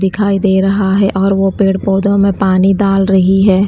दिखाई दे रहा है और वो पेड़ पौधों में पानी डाल रही है।